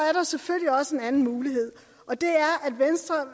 er der selvfølgelig også en anden mulighed og det er